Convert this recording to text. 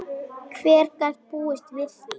Hver gat búist við því?